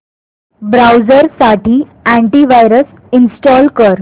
browser साठी anti virus install कर